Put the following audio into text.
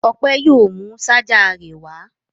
Ọpẹ yóò mú ṣajà rẹ̀ wá.